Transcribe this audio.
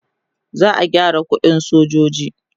za'a gyara ƙuɗin sojoji